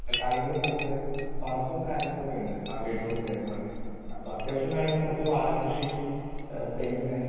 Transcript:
speaker 2 കാര്യങ്ങള് നോക്കുകേം പറമ്പും കാര്യങ്ങളൊക്കെ ഉണ്ട് ആ വീടിനോട് ചേർന്ന് തന്നെ അപ്പോ അത്യാവശ്യം വേണ്ട കുറച്ചു വാഴകൃഷി ആഹ് തെങ്ങ്